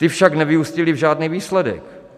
Ty však nevyústily v žádný výsledek.